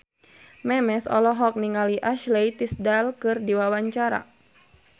Memes olohok ningali Ashley Tisdale keur diwawancara